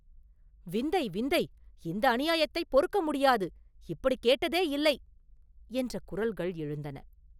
“விந்தை! விந்தை!”, “இந்த அநியாயத்தைப் பொறுக்க முடியாது!”, “இப்படிக் கேட்டதே இல்லை!” என்ற குரல்கள் எழுந்தன.